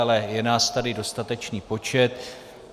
Ale je nás tady dostatečný počet.